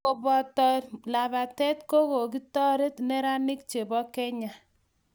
Kobuntoe labatee ko kokutoret neranik che bo Kenya.